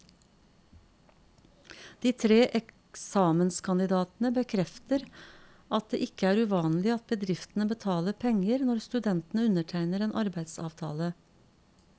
De tre eksamenskandidatene bekrefter at det ikke er uvanlig at bedriftene betaler penger når studentene undertegner en arbeidsavtale.